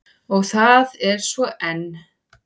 Og það er svo enn.